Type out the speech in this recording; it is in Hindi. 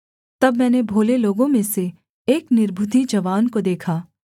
तब मैंने भोले लोगों में से एक निर्बुद्धि जवान को देखा